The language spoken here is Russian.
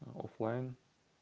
оф-лайн